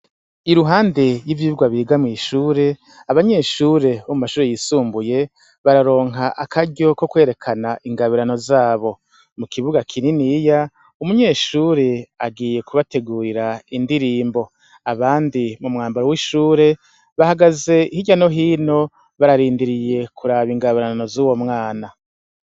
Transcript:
I ruhande y'ivyibwa bigamye ishure abanyeshure bo mu mashuri yisumbuye bararonka akaryo ko kwerekana ingabirano zabo mu kibuga kininiya umunyeshure agiye kubategurira indirimbo abandi mu mwambaro w'ishure bahagaze hirya no hino bararindiriye kuraba ingabarano z'uwo mwana.